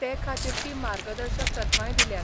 ते खातीरची मार्गदर्शक तत्वांय दिल्यात.